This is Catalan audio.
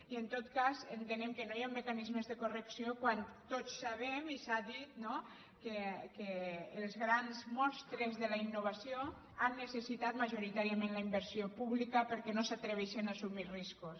i en tot cas en·tenem que no hi han mecanismes de correcció quan tots sabem i s’ha dit no que els grans monstres de la innovació han necessitat majoritàriament la inver·sió pública perquè no s’atreveixen a assumir riscos